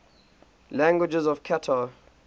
languages of qatar